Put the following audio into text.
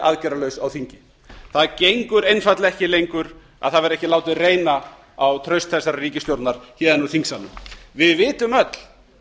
aðgerðalaus á þingi það gengur einfaldlega ekki lengur að það verði ekki látið reyna á traust þessarar ríkisstjórnar héðan úr þingsalnum við vitum öll